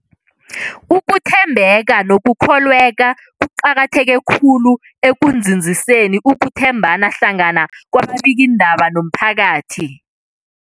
Ukuthembeka nokukholweka kuqakatheke khulu ekunzinziseni ukuthembana hlangana kwababikiindaba nomphakathi.